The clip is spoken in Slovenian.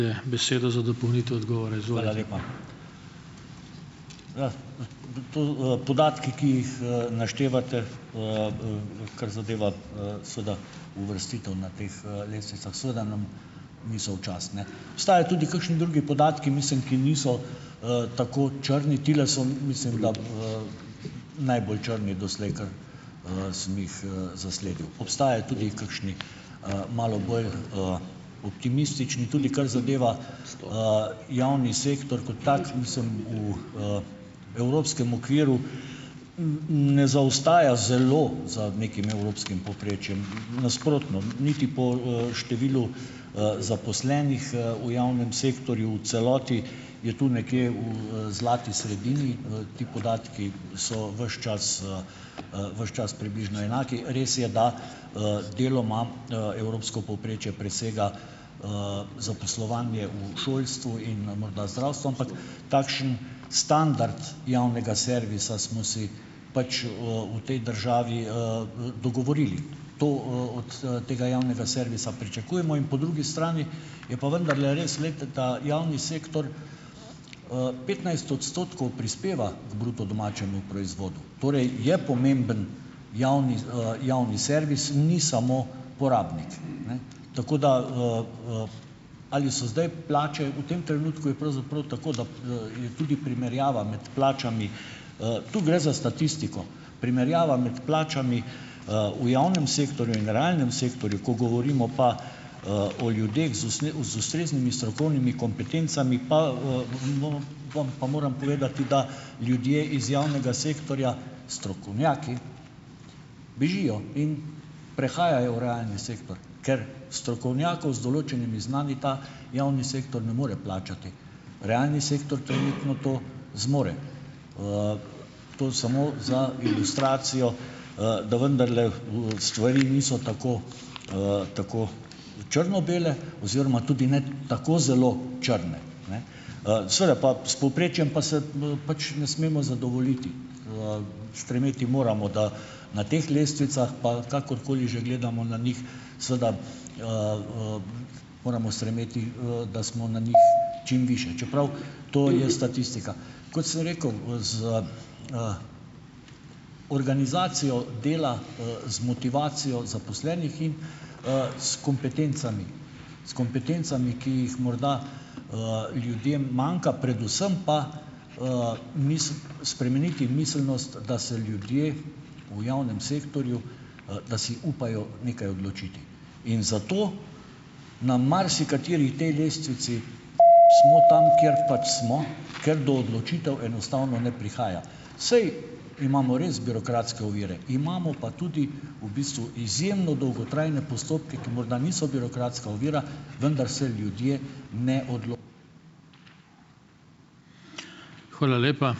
Podatki, ki jih, naštevate, kar zadeva, seveda uvrstitev na teh, lestvicah seveda nam niso v čast, ne. Obstajajo tudi kakšni drugi podatki, mislim, ki niso, tako črni, tile so, mislim da, najbolj črni doslej, kar, sem jih, zasledil, obstajajo tudi kakšni, malo bolj, optimistični, tudi kar zadeva, javni sektor kot tak. Mislim, v, evropskem okviru, ne zaostaja zelo za nekim evropskim povprečjem. Nasprotno, niti po, številu, zaposlenih, v javnem sektorju, v celoti, je tu nekje v, zlati sredini. Ti podatki so ves čas, ves čas približno enaki. Res je, da, deloma, evropsko povprečje presega, zaposlovanje v šolstvu in na morda zdravstvu, ampak, takšen standard javnega servisa smo si pač, v tej državi, dogovorili. To, od tega javnega servisa pričakujemo in po drugi strani je pa vendarle res, glejte, da javni sektor, petnajst odstotkov prispeva k bruto domačemu proizvodu torej, je pomemben javni, javni servis, ni samo porabnik, ne. Tako da, ali so zdaj plače, v tem trenutku je pravzaprav tako, da, je tudi primerjava med plačami - tu gre za statistiko - primerjava med plačami, v javnem sektorju in realnem sektorju, ko govorimo pa, o ljudeh z z ustreznimi strokovnimi kompetencami, pa, bomo vam moram povedati, da ljudje iz javnega sektorja, strokovnjaki, bežijo in prehajajo v realni sektor, ker strokovnjakov z določenimi znanji ta javni sektor ne more plačati. Realni sektor trenutno to zmore. To samo za ilustracijo, da vendarle, stvari niso tako, tako črno-bele oziroma tudi ne tako zelo črne, ne. Seveda pa, s povprečjem pa se, pač ne smemo zadovoljiti. Stremeti moramo, da na teh lestvicah, pa kakorkoli že gledamo na njih, seveda, moramo stremeti, da smo na njih čim višje, čeprav to je statistika. Kot sem rekel, za, organizacijo dela, z motivacijo zaposlenih in, s kompetencami. S kompetencami, ki jih morda, ljudem manjka, predvsem pa, spremeniti miselnost, da se ljudje v javnem sektorju, da si upajo nekaj odločiti. In zato na marsikateri tej lestvici smo tam, kjer pač smo , ker do odločitev enostavno ne prihaja. Saj imamo res birokratske ovire. Imamo pa tudi v bistvu izjemno dolgotrajne postopke, ki morda niso birokratska ovira, vendar se ljudje ne ...